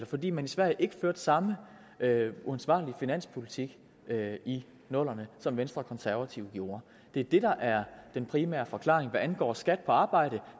fordi man i sverige ikke førte samme uansvarlige finanspolitik i nullerne som venstre og konservative gjorde det er det der er den primære forklaring hvad angår skat på arbejde